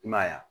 I m'a ye wa